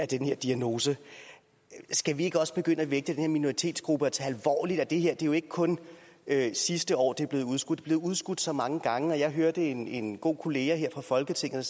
den her diagnose skal vi ikke også begynde at vægte den her minoritetsgruppe og tage det alvorligt at det her jo ikke kun er sidste år det er blevet udskudt det er blevet udskudt så mange gange og jeg hørte en en god kollega her i folketinget